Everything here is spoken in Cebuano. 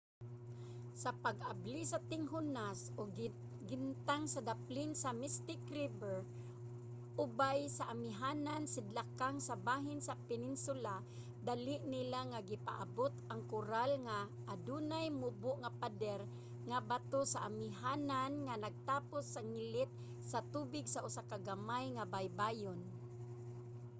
sa pag-abli sa tinghunas og gintang sa daplin sa mystic river ubay sa amihanan-sidlakang sa bahin sa peninsula dali nila nga gipaabot ang koral nga adunay mubo nga pader nga bato sa amihanan nga nagtapos sa ngilit sa tubig sa usa ka gamay nga baybayon